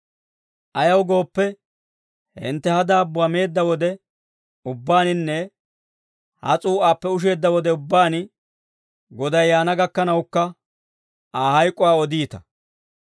Ayaw gooppe, hintte ha daabbuwaa meedda wode ubbaaninne ha s'uu'aappe usheedda wode ubbaan Goday yaana gakkanawukka, Aa hayk'uwaa odiita.